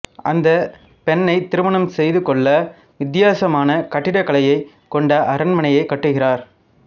அந்தப் பெண்ணை திருமணம் செய்து கொள்ள வித்தியாசமான கட்டிடக் கலையை கொண்ட அரண்மனையை கட்டுகிறார்